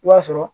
I b'a sɔrɔ